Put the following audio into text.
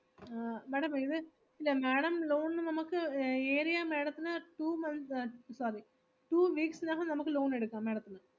ആഹ് madam ഇത്, ഇല്ല madam loan ന് നമ്മക്ക് ഏറിയാ madam ത്തിന് two months, sorry two weeks നകം നമുക്ക് loan എടുക്കാം madam ത്തിന്.